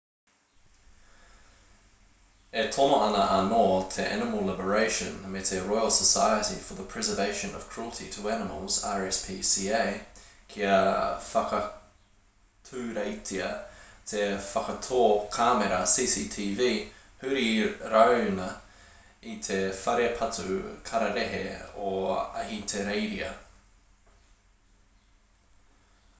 e tono ana anō te animal liberation me te royal society for the prevention of cruelty to animals rspca kia whakaturetia te whakatō kāmera cctv huri rāuna i te whare patu kararehe o ahitereiria